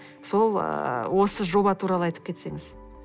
сол ыыы осы жоба туралы айтып кетсеңіз